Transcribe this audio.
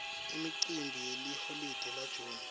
imicimbi yeliholide la june